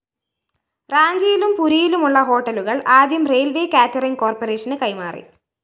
റാഞ്ചിയിലും പുരിയിലുമുള്ള ഹോട്ടലുകള്‍ ആദ്യം റെയിൽവേസ്‌ കേറ്ററിങ്‌ കോര്‍പ്പറേഷന് കൈമാറി